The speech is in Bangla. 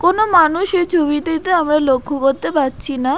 কোনো মানুষ এই ছবিটিতে আমরা লক্ষ্য করতে পারছি না।